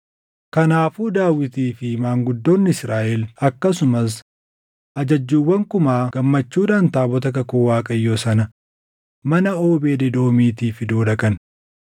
Kanaafuu Daawitii fi maanguddoonni Israaʼel akkasumas ajajjuuwwan kumaa gammachuudhaan taabota kakuu Waaqayyoo sana mana Oobeed Edoomiitii fiduu dhaqan.